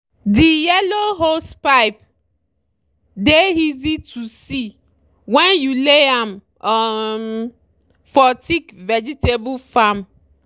the yellow hosepipe dey easy to see when you lay am um for thick vegetable farm.